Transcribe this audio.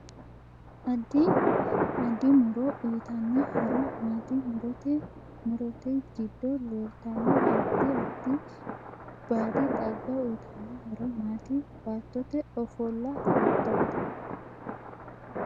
Addi addi muro uyiitanno horo maati murote murote giddo leeltanno addi addi baadi xagga uyiitanno horo maati baattote ofolla hiitoote